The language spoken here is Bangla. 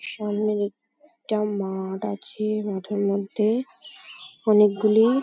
সামনে এক টা মাঠ আছে। মাঠের মধ্যে অনেকগুলি --